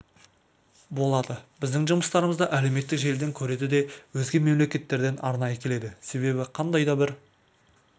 болады біздің жұмыстарымызды әлеуметтік желіден көреді де өзге мемлекеттерден арнайы келеді себебі қандай да бір